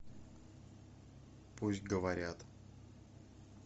пусть говорят